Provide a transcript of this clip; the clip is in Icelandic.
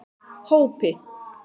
Hópi